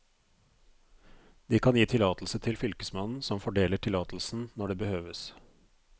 De kan gi tillatelse til fylkesmannen, som fordeler tillatelsen når det behøves.